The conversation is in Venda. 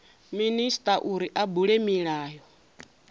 minisita uri a bule milayo